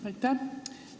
Aitäh!